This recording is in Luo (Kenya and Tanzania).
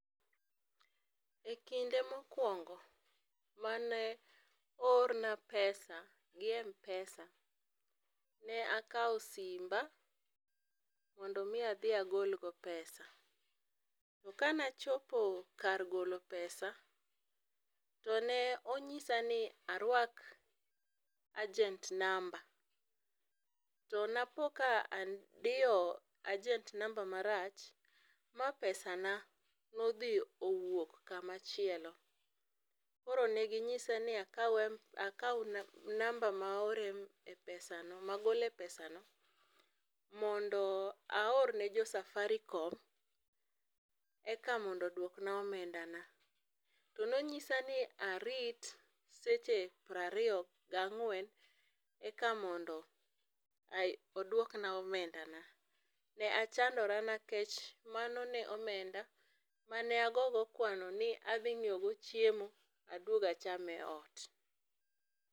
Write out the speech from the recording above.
E kinde mokuongo mane oorna pesa gi Mpesa, ne akaw simba mondo adhi agol go pesa, to kane achopo kar golo pesa tone onyisani arwak agent number, to napo ka adiyo agent number marach ma pesana odhi owuok kama chielo, koro ne ginyisa ni akaw number ma aore pesa no magole pesano mondo aorne jo Safaricom eka mondo oduokna omenda na, tone onyisani arit seche 24 eka mondo oduokna omenda na, ne asandora nikech mano ne omenda mane ago go kwano ni adhi nyiew go chiemo aduog acham e ot